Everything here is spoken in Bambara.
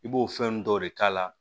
I b'o fɛn nun dɔw de k'a la